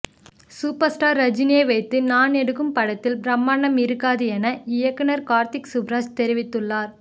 super star ரஜினியை வைத்துநான் எடுக்கும் படத்தில் பிரம்மாண்டம் இருக்காது என இயக்குநர் கார்த்திக் சுப்புராஜ் தெரிவித்துள்ளார்